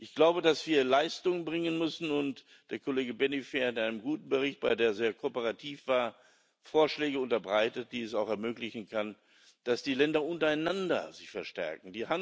Ich glaube, dass wir Leistung bringen müssen, und der Kollege Benifei hat in einem guten Bericht, bei dem er sehr kooperativ war, Vorschläge unterbreitet, die es auch ermöglichen können, dass sich die Länder untereinander verstärken.